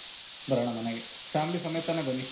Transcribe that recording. ಬರಣ ಮನೆಗೆ. family ಸಮೇತನೆ ಬನ್ನಿ.